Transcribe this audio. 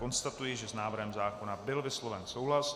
Konstatuji, že s návrhem zákona byl vysloven souhlas.